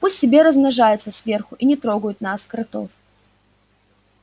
пусть себе размножаются сверху и не трогают нас кротов